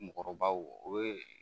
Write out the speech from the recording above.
Mɔgɔkɔrɔbaw o ye.